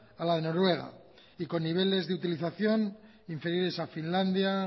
a la de noruega y con niveles de utilización inferiores a finlandia